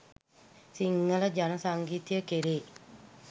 සිංහල ජන සංගීතය කෙරෙහි